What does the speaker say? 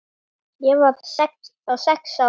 Ég var þá sex ára.